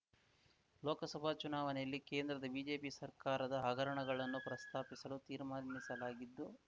ಲೋಕಸಭಾ ಚುನಾವಣೆಯಲ್ಲಿ ಕೇಂದ್ರದ ಬಿಜೆಪಿ ಸರ್ಕಾರದ ಹಗರಣಗಳನ್ನು ಪ್ರಸ್ತಾಪಿಸಲು ತೀರ್ಮಾನಿಸಲಾಗಿದ್ದು